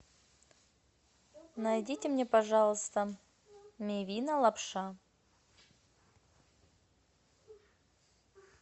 найдите мне пожалуйста мивина лапша